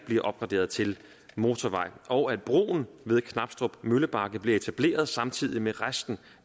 bliver opgraderet til motorvej og at broen ved knabstrup møllebakke bliver etableret samtidig med resten